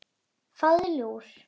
Fáðu þér lúr.